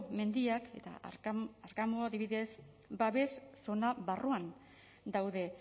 mendiak eta arkamu adibidez babes zona barruan daude